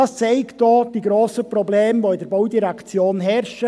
Dies zeigt auch die grossen Probleme, die in der Baudirektion herrschen.